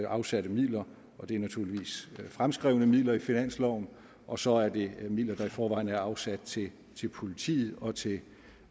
afsatte midler og det er naturligvis fremskrevne midler i finansloven og så er det midler der i forvejen er afsat til til politiet og til